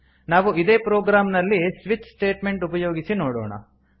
ನಾವು ಇದೇ ಪ್ರೊಗ್ರಾಮ್ ನಲ್ಲಿ ಸ್ವಿಚ್ ಸ್ಟೇಟ್ಮೆಂಟ್ ಉಪಯೋಗಿಸಿ ನೋಡೋಣ